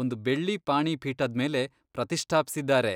ಒಂದ್ ಬೆಳ್ಳಿ ಪಾಣಿಪೀಠದ್ಮೇಲೆ ಪ್ರತಿಷ್ಠಾಪ್ಸಿದಾರೆ.